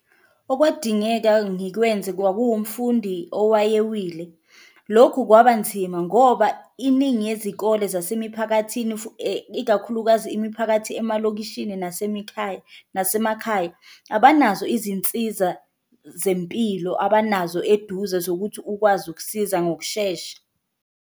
Okwadingeka ngikwenze kwakuwumfundi owayewile, lokhu kwaba nzima ngoba iningi yezikole zasemiphakathini, ikakhulukazi imiphakathi emalokishini nasemikhaya, nasemakhaya, abanazo izinsiza zempilo abanazo eduze zokuthi ukwazi ukusiza ngokushesha.